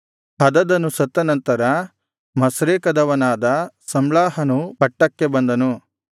ಹದದನು ಸತ್ತ ನಂತರ ಮಸ್ರೇಕದವನಾದ ಸಮ್ಲಾಹನು ಪಟ್ಟಕ್ಕೆ ಬಂದನು